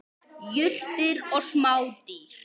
Jurtir og smádýr.